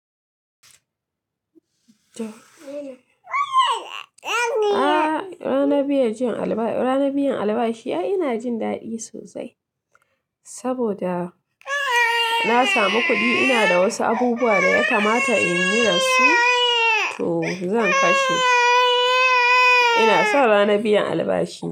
A ranar biyan albashi ai ina jin daɗi sosai saboda na samu kuɗi. Ina da wasu abubuwa da ya kamata in yi da su, to zan kashe. Ina so ranar biyan albashi.